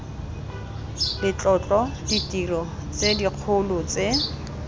letlotlo ditiro tse dikgolo tse